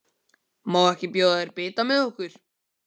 Má ekki bjóða þér bita með okkur?